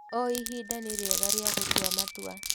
O ihinda nĩ rĩega rĩa gũtua matua.